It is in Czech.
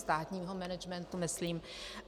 Státního managementu myslím.